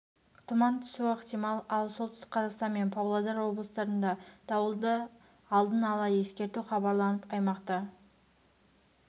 тұман түсуі ықтимал ал солтүстік қазақстан мен павлодар облыстарында дауылды алдын ала ескерту хабарланып аймақта